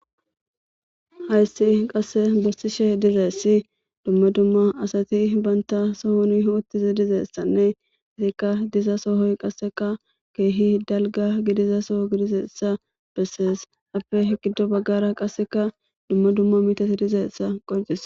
Hayssi qase bessishe Dizaysi Duma Duma Asati Banta sohoni othiza Dizaysane Diza sohoy Qaseka Kehi dalga Diza so gididaysa beses Haysape gido bagara qase duma duma metotiy Dizaysa Qonccisses